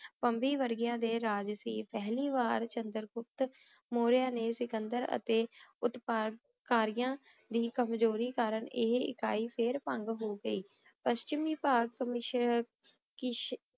ਏਮਬੀ ਵਾਰ੍ਗ੍ਯੰਨ ਦੇ ਰਾਜ ਸੀ ਪਹਲੀ ਵਾਰ ਚੰਦਰ ਗੁਪਤ ਮੋਰਯਾ ਨੇ ਸਿਕੰਦਰ ਅਤੀ ਉਤ੍ਪਰ ਕਰਿਯਾਂ ਇ ਕਮਜ਼ੋਰੀ ਕਰਨ ਆਯ ਇਕਾਈ ਫੇਰ ਭੰਗ ਹੋਗੀ ਪੇਸ੍ਚ੍ਮੀ ਭਾਗ